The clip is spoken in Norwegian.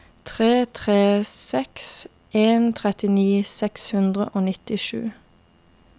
tre tre seks en trettini seks hundre og nittisju